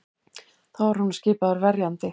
Þá var honum skipaður verjandi